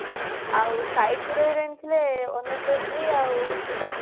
ଆଉ site hero heroin ଥିଲେ ଅନୁ ଚୌଧୁରୀ ଆଉ ସିଦ୍ଧାର୍ଥ